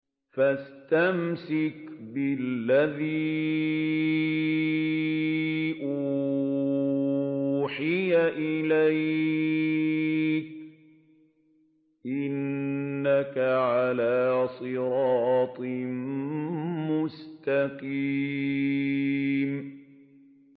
فَاسْتَمْسِكْ بِالَّذِي أُوحِيَ إِلَيْكَ ۖ إِنَّكَ عَلَىٰ صِرَاطٍ مُّسْتَقِيمٍ